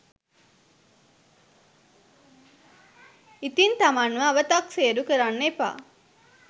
ඉතිං තමන්ව අවතක්සේරු කරන්න එපා